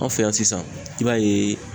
An fɛ yan sisan i b'a ye